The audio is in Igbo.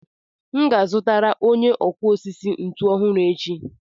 M ga-azụtara onye ọkụ osisi ntu ọhụrụ echi.